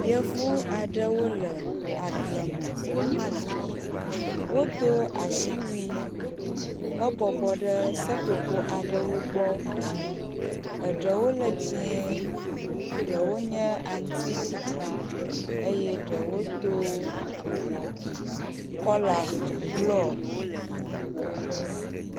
yevu aɖewo le agbleme wodó asiwui he bɔbɔ ɖe seƒoƒo aɖewo gbɔ eɖewo le dzĩe eɖewo nye aŋtiɖiɖi eye ɖewo dó kɔla blɔ